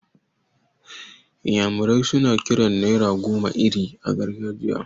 Iyamure suna kiran naira goma 'Iri' a gargajiyan ce.